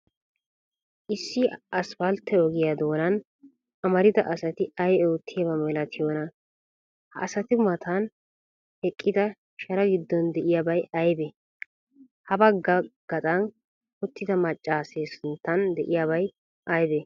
Issi asppaltte ogiya doonan amarida asati ay oottiyaaba malatiyoona? Ha asati matan eqqida sharaa giddon de'iyabay aybee? Habagga gaxan uttida maccaasee sinttan de'iyabay aybee?